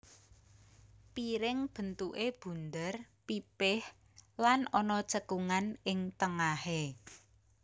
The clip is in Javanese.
Piring bentuké bunder pipih lan ana cekungan ing tengahé